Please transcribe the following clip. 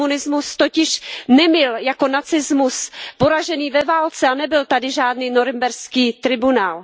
Komunismus totiž nebyl jako nacismus poražen ve válce a nebyl tady žádný norimberský tribunál.